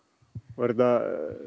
er þetta